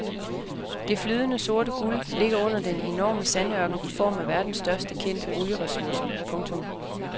Det flydende sorte guld ligger under den enorme sandørken i form af verdens største kendte olieressourcer. punktum